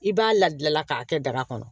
I b'a labila k'a kɛ daga kɔnɔ